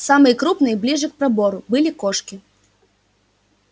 самые крупные ближе к пробору были кошки